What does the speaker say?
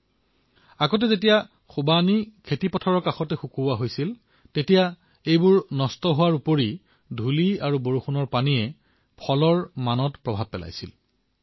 প্ৰথমে যেতিয়া এই ফলবিধক খেতিৰ কাষত শুকুৱা হৈছিল তেতিয়া ই নষ্ট হোৱাৰ লগতে ধূলি আৰু বৰষুণৰ পানীৰ ফলত ইয়াৰ গুণগতমানো নষ্ট হৈছিল